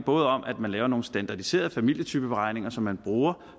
både om at man laver nogle standardiserede familietypeberegninger som man bruger